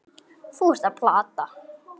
Þú ert að plata.